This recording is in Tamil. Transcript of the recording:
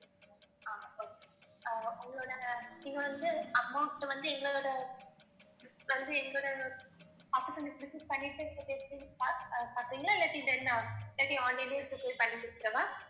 ஆஹ் okay ஆஹ் உங்களோட நீங்க வந்து amount வந்து எங்களோட வந்து எங்களோட office அ நீங்க visit பண்ணிட்டு இல்லாட்டி then இல்லாட்டி online லயே பண்ணி கொடுத்திடவா?